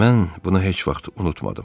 Mən buna heç vaxt unutmadım.